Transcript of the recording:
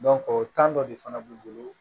o dɔ de fana b'u bolo